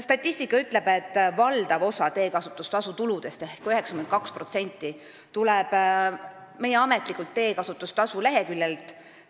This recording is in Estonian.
Statistika ütleb, et valdav osa teekasutustasu tuludest ehk 92% tuleb meie ametlikult teekasutustasu leheküljelt.